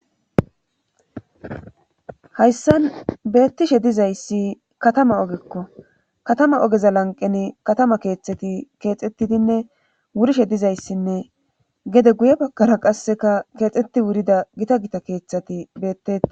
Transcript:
hayssan beettishe dizayssi katama ogekko katama ogeza lanqeni katama keeththati keexettidinne wurishe dizayssinne gede guye bakara qasseka keexxeti wurida gita gita keeththati beettea